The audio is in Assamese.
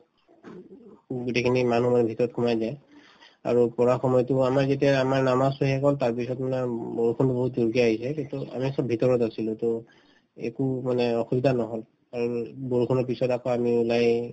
গোটেইখিনি মানুহ মানে ভিতৰত সোমাই যায় আৰু পঢ়া সময়তো আমাৰ যেতিয়া আমাৰ নামাজতো শেষ হল তাৰপিছত মানে বৰষুণতো বহুত জুৰকে আহিছে তেতিয়া আমি চব ভিতৰত আছিলো to একো মানে অসুবিধা নহল বৰষুণৰ পিছত আকৌ ওলাই আহি